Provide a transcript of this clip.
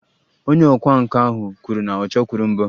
Onye ọkwá nkà ahụ kwuru na ọ chọkwuru mbọ